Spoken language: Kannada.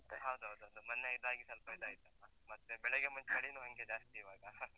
ಹೌದೌದೌದು, ಮೊನ್ನೆ ಇದಾಗಿ ಸ್ವಲ್ಪ ಇದಾಯ್ತಲ್ವ? ಮತ್ತೆ ಬೆಳಗ್ಗೆ ಮತ್ತ್ ಚಳೀನೂ ಹಂಗೇ ಜಾಸ್ತಿ ಇವಾಗ